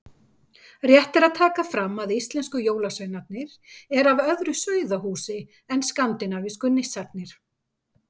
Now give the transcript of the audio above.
Rétt er að taka fram að íslensku jólasveinarnir eru af öðru sauðahúsi en skandinavísku nissarnir.